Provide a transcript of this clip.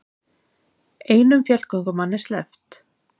Einum fjallgöngumanni sleppt